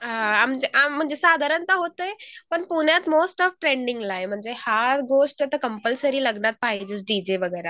हां म्हणजे साधारणतः होतंय पण पुण्यात मोस्ट ऑफ ट्रेंडिंग ला आहे म्हणजे हार तर कंपलसरी लग्नात आहेच डीजे वगैरा